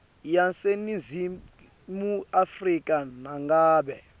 yaseningizimu afrika nangabe